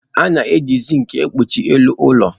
A na-eji zinki kpuchie elu ụlọ.